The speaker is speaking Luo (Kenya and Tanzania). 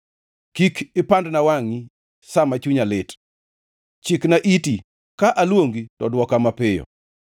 Kik ipandna wangʼi sa ma chunya lit. Chikna iti; ka aluongi to dwoka mapiyo.